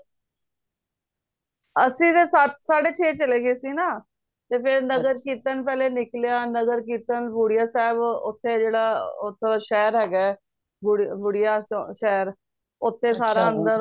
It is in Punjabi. ਅੱਸੀ ਤੇ ਸੱਤ ਸਾਡੇ ਛੇ ਚਲੇ ਗਏ ਸੀ ਨਾ ਤੇ ਫੇਰ ਨਗਰ ਕੀਰਤਨ ਪਹਿਲਾ ਨਿਕਲਿਆ ਨਗਰ ਕੀਰਤਨ ਬੁੜੀਆਂ ਸਾਹਿਬ ਓਥੇ ਜੇੜ੍ਹਾ ਓਧਰ ਸ਼ਹਿਰ ਹੈਗਾ ਬੁੜੀਆਂ ਸ਼ਹਿਰ ਉਥੇ ਸਾਰਾ ਅੰਦਰ ਓੰਨੇ